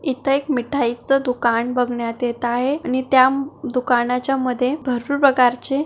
इथे एक मिठाई च दूकान बघण्यात येत आहे आणि त्या दुकानाच्या मध्ये भरपूर प्रकार चे--